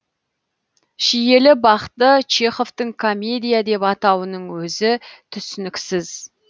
шиелі бақты чеховтің комедия деп атауының өзі түсініксіз